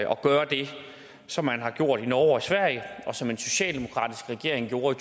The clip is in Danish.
gøre det som man har gjort i norge og i sverige og som en socialdemokratisk regering gjorde